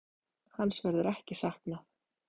Hans verður ekki saknað.